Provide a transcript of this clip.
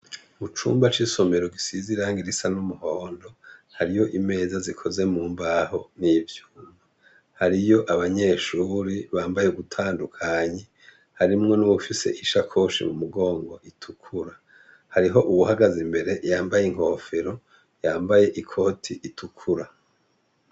Mucumba c'isomero gisize irahangi risa n'umuhondo hariyo imeza zikoze mumbaho n'ibyuma ,hariyo abanyeshuri bambaye gutandukanyi harimwo nibufise ishakoshi mu mugongo itukura. Hariho ubuhagaze mbere yambaye inkofero yambaye ikoti itukura.